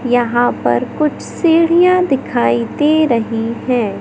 यहां पर कुछ सीढ़ियां दिखाई दे रही हैं।